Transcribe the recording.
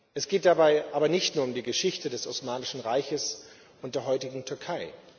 Es geht dabei aber nicht nur um die Geschichte des Osmanischen Reiches und der heutigen Türkei.